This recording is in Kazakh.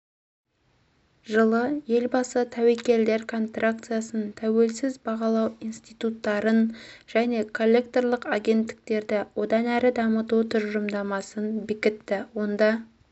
жылы елбасы тәуекелдер контракциясын тәуелсіз бағалау институттарын және коллекторлық агенттіктерді одан әрі дамыту тұжырымдамасын бекітті онда